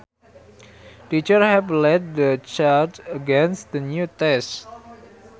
Teachers have led the charge against the new tests